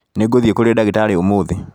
Nĩngũthiĩ kũrĩ ndagĩtarĩ ũmũthĩ